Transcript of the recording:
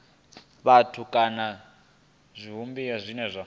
vhathu kana zwivhumbeo zwine zwa